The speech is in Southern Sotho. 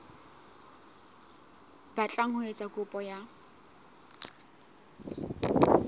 batlang ho etsa kopo ya